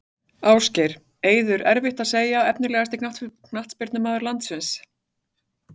Ásgeir, Eiður erfitt að segja Efnilegasti knattspyrnumaður landsins?